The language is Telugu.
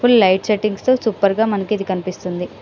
ఫుల్ లైట్ సెట్టింగ్ తో సూపర్ గ మనకు ఇది కనిపిస్తుంది .